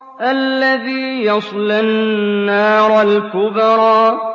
الَّذِي يَصْلَى النَّارَ الْكُبْرَىٰ